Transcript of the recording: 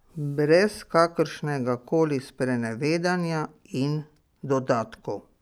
Brez kakršnega koli sprenevedanja in dodatkov.